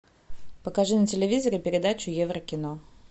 покажи на телевизоре передачу еврокино